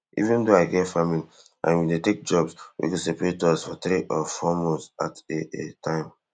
even though i get family i bin dey take jobs wet go separate us for three or four months at a a time